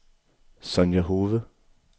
Sonja Hove